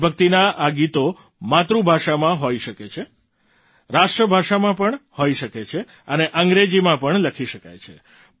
દેશભક્તિનાં આ ગીતો માતૃભાષામાં હોઈ શકે છે રાષ્ટ્રભાષામાં હોઈ શકે છે અને અંગ્રેજીમાં પણ લખી શકાય છે